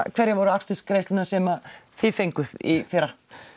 hverjar voru akstursgreiðslurnar sem þið fenguð í fyrra